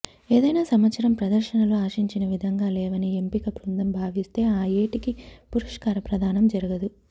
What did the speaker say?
ఏదైనా సంవత్సరం ప్రదర్శనలు ఆశించిన విధంగా లేవని ఎంపిక బృందం భావిస్తే ఆ ఏటికి పురస్కార ప్రధానం జరగదు